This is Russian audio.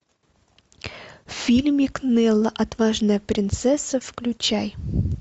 фильмик нелла отважная принцесса включай